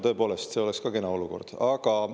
Tõepoolest, see oleks kena olukord!